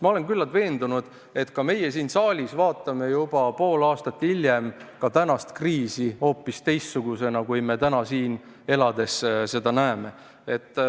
Ma olen küllalt veendunud, et ka meie siin saalis vaatame juba pool aastat hiljem tänast kriisi hoopis teistsugusena, kui me täna siin seda näeme.